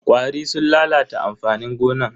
ƙwari sun lalata amfanin gonan.